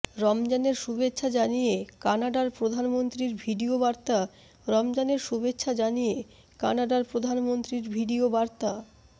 রমজানের শুভেচ্ছা জানিয়ে কানাডার প্রধানমন্ত্রীর ভিডিও বার্তা রমজানের শুভেচ্ছা জানিয়ে কানাডার প্রধানমন্ত্রীর ভিডিও বার্তা